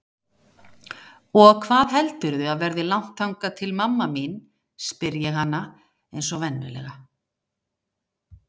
Og hvað heldurðu að verði langt þangað til mamma mín, spyr ég hana einsog venjulega.